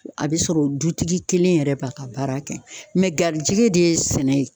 A be sɔrɔ dutigi kelen yɛrɛ b'a ka baara kɛ mɛ garijigɛ de ye sɛnɛ ye